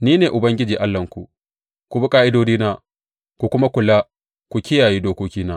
Ni ne Ubangiji Allahnku; ku bi ƙa’idodina ku kuma kula ku kiyaye dokokina.